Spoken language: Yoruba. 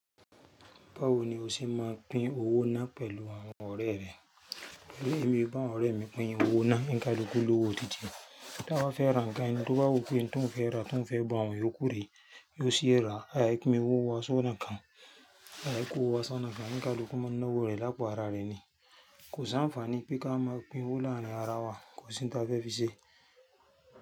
Báwo ni o ṣe máa pín owó náà pẹ̀lú àwọn ọ̀rẹ́ rẹ? Torí èmi bá àwọn ọ̀rẹ́ mi pín owó náà, oní kálukú lówo títìẹ̀ Tí a bá fẹ́ ra ǹkan, tí ó bá wù pé tòun fẹ́ ra, tòun fẹ́ gba òun, yó kúrè, yó sì rà, àì yẹ kí pín owó wa ṣọ́nà kan. Àì yẹ kó owó wa ṣọ́nà kan, oní kálukú máa ń náwó rẹ̀ lápò ara rẹ̀ ni. Kò sí ànfààní pé ká máa pín owó láàrin ara wa, kò sí t'a fẹ́ fi ṣe.